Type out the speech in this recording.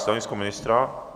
Stanovisko ministra?